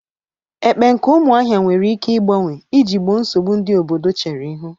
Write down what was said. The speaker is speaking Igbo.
Ekpe nke umuahia nwere ike igbanwe iji gboo nsogbu ndi obodo chere ihu.